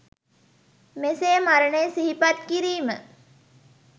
මෙසේ මරණය සිහිපත් කිරීම